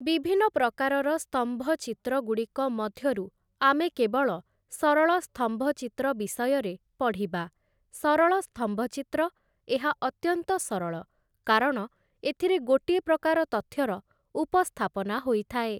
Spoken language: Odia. ବିଭିନ୍ନ ପ୍ରକାରର ସ୍ତମ୍ଭ ଚିତ୍ରଗୁଡ଼ିକ ମଧ୍ୟରୁ ଆମେ କେବଳ ସରଳ ସ୍ତମ୍ଭଚିତ୍ର ବିଷୟରେ ପଢ଼ିବା । ସରଳ ସ୍ତମ୍ଭଚିତ୍ର ଏହା ଅତ୍ୟନ୍ତ ସରଳ କାରଣ ଏଥିରେ ଗୋଟିଏ ପ୍ରକାର ତଥ୍ୟର ଉପସ୍ଥାପନା ହୋଇଥାଏ ।